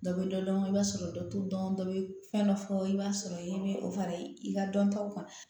Dɔ bɛ dɔ dɔn i b'a sɔrɔ dɔ t'u dɔn dɔ bɛ fɛn dɔ fɔ i b'a sɔrɔ i bɛ o fara i ka dɔntaw kan